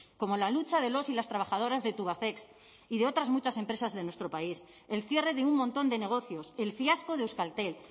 como la lucha de los y las trabajadoras de tubacex y de otras muchas empresas de nuestro país el cierre de un montón de negocios el fiasco de euskaltel